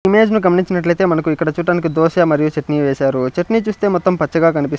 image ని గమనించినట్లు అయితే మనకు ఇక్కడ చుటానికి దోస మరియు చెట్నీ వేసారు చెట్నీ చుస్తే మొత్తం పచ్చగ కనిపిస్ --